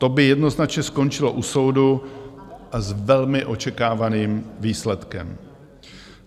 To by jednoznačně skončilo u soudu s velmi očekávaným výsledkem.